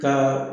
Ka